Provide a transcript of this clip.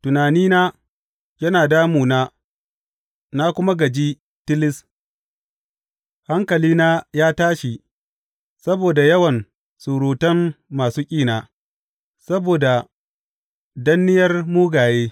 Tunanina yana damuna na kuma gaji tilis hankalina ya tashi saboda yawan surutan masu ƙina, saboda danniyar mugaye.